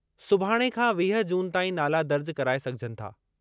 सुभाणे खां वीह जून ताईं नाला दर्ज कराए सघिजनि था।